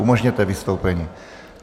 Umožněte vystoupení.